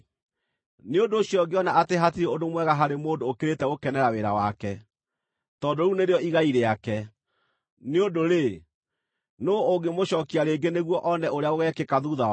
Nĩ ũndũ ũcio ngĩona atĩ hatirĩ ũndũ mwega harĩ mũndũ ũkĩrĩte gũkenera wĩra wake, tondũ rĩu nĩrĩo igai rĩake. Nĩ ũndũ-rĩ, nũũ ũngĩmũcookia rĩngĩ nĩguo one ũrĩa gũgeekĩka thuutha wake?